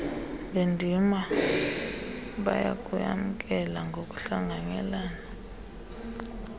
bendima bayakuyamkela ngokuhlanganyelana